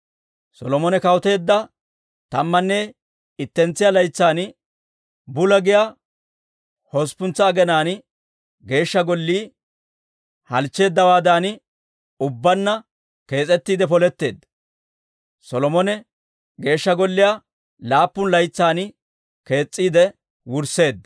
Solomone kawuteedda tammanne ittentsiyaa laytsan, Bula giyaa hosppuntsa aginaan Geeshsha Gollii halchcheeddawaadan ubbaanna kees'ettiide poletteedda. Solomone Geeshsha Golliyaa laappun laytsan kees's'iide wursseedda.